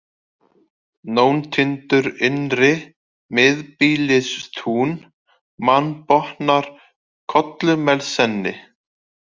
Nóntindur innri, Miðbýlistún, Mannbotnar, Kollumelsenni